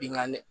Bingani